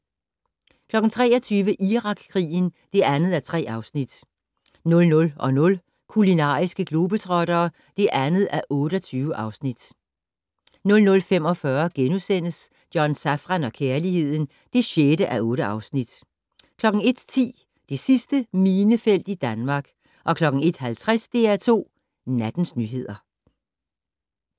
23:00: Irakkrigen (2:3) 00:00: Kulinariske globetrottere (2:28) 00:45: John Safran og kærligheden (6:8)* 01:10: Det sidste minefelt i Danmark 01:50: DR2 Nattens nyheder